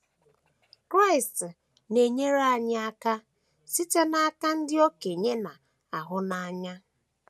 Kraịst na - enyere anyị aka site n’aka ndị okenye na - ahụ n’anya